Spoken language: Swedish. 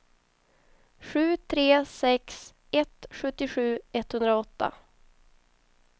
sju tre sex ett sjuttiosju etthundraåtta